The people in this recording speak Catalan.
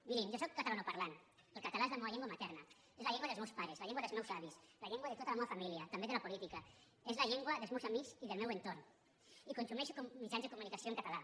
mirin jo sóc catalanoparlant el català és la meua llengua materna és la llengua dels meus pares la llengua dels meus avis la llengua de tota la meua família també de la política és la llengua dels meus amics i del meu entorn i consumeixo mitjans de comunicació en català